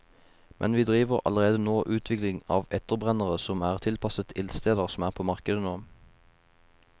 Men vi driver allerede nå utvikling av etterbrennere som er tilpasset ildsteder som er på markedet nå.